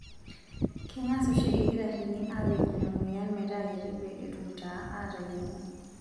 Kengas oshi ilkitarrini aapej ina moyian metaa kiti pee etum taa aateyieng'u.